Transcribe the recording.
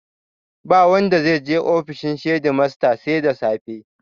Ba wanda zai je ofishin shedimasta sai da safe